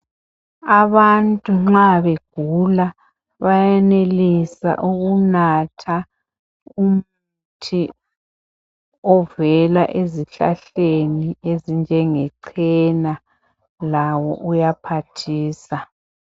Abantu nxa begula bayayenelisa ukunatha umuthi ovela ezihlahleni ezinje nge cena lawo uyaphathisa.